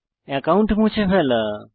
account মুছে ফেলা